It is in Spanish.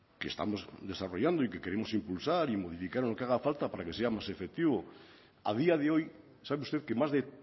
que estamos desarrollando y que queremos impulsar y modificar lo que haga falta para que sea más efectivo a día de hoy sabe usted que más de